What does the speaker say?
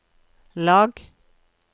lag